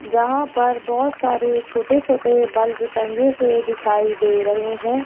यहां पर बहुत सारे छोटे छोटे बल्ब टंगे हुए दिखाई दे रहे हैं।